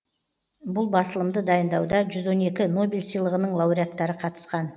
бұл басылымды дайындауда жүз он екі нобель сыйлығының лауреаттары қатысқан